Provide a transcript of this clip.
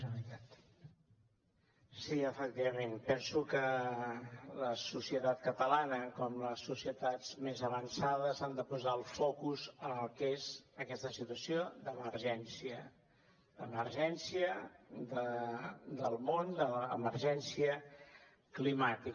sí efectivament penso que la societat catalana com les societats més avançades ha de posar el focus en el que és aquesta situació d’emergència d’emergència del món d’emergència climàtica